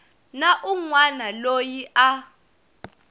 na un wana loyi a